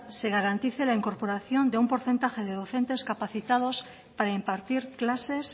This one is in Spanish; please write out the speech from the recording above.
se garantice la incorporación de un porcentaje de docentes capacitados para impartir clases